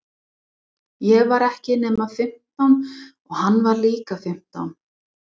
Ég var ekki nema fimmtán og hann var líka fimmtán.